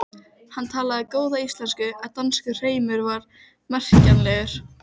Gildir sennilega sama um stapana og dyngjurnar.